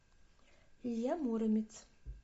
илья муромец